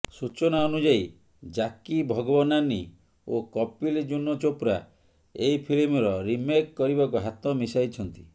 ସୂଚନା ଅନୁୟାୟୀ ଜ୍ୟାକି ଭଗନାନୀ ଓ କପିଲ୍ ଜୁନୋ ଚୋପ୍ରା ଏହି ଫିଲ୍ମର ରିମେକ୍ କରିବାକୁ ହାତ ମିଶାଇଛନ୍ତି